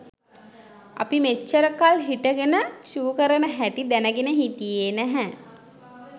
අපි මෙච්චරකල් හිටගෙන චූ කරන හැටි දැනගෙන හිටියේ නෑ.